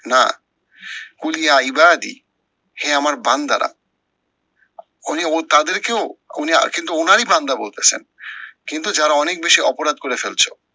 না, হে আমার বান্দারা উনি ও তাদেরকেও উনি আহ কিন্তু উনারই বান্দা বলতেছেন। কিন্তু যারা অনেক বেশি অপরাধ করে ফেলছো।